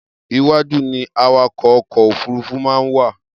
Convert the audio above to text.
Iwájú ni awakọ̀ ọkọ̀ òfúrufú máa ń wà.